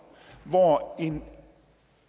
hvor en